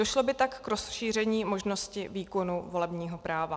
Došlo by tak k rozšíření možnosti výkonu volebního práva.